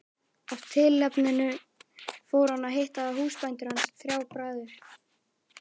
Af tilefninu fór hann að hitta húsbændur hans, þrjá bræður.